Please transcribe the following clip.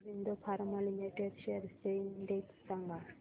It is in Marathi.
ऑरबिंदो फार्मा लिमिटेड शेअर्स चा इंडेक्स सांगा